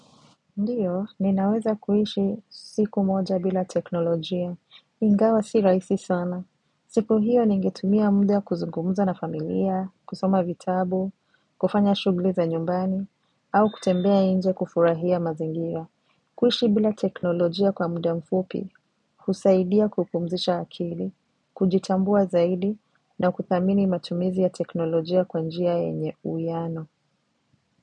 Ndiyo, ninaweza kuishi siku moja bila teknolojia. Ingawa si rahisi sana. Siku hiyo ningetumia muda kuzungumuza na familia, kusoma vitabu, kufanya shughuli za nyumbani, au kutembea nje kufurahia mazingira. Kuishi bila teknolojia kwa muda mfupi, husaidia kupumzisha akili, kujitambua zaidi, na kuthamini matumizi ya teknolojia kwa njia yenye uwiiano.